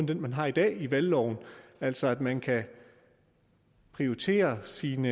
den man har i dag i valgloven altså at man kan prioritere sin